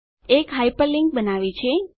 એક હાયપરલીંક બનાવી છે